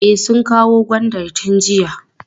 E, sun kawo gwandan tun jiya.